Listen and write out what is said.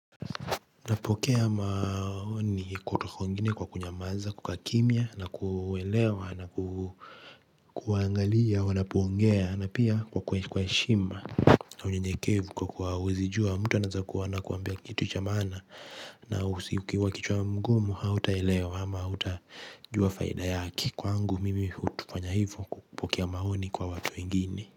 Napokea maoni kutoka kwa wengine kwa kunyamaza, kukaa kimya, na kuelewa, na kuangalia, wanapo ongea, na pia kwa kwa heshima. Na unyenyekevu kwa kuwa huwezi jua, mtu anaweza kuwa anakuambia kitu cha maana, na ukiwa kichwa ngumu, hautaelewa, ama hautajua faida yake. Kwangu, mimi hufanya hivyo kwa kupokea maoni kwa watu wengine.